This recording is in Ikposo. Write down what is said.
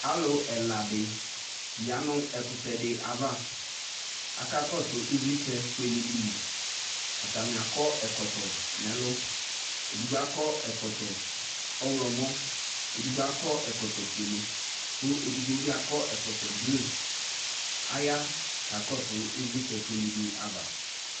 Alʋ ɛla dɩ ya nʋ ɛkʋtɛ dɩ ava , aka kɔsʋ ɩvlɩtsɛ fuele dɩ li, atanɩ akɔ ɛkɔtɔ n'ɛlʋ , edigbo akɔ ɛkɔtɔ ɔɣlɔmɔ edigbo akɔ ɛkɔtɔ fuele ,kʋ edigbo bɩ akɔ ɛkɔtɔ blue Aya ka kɔsʋ ɩvlɩtsɛ fuele dɩ ava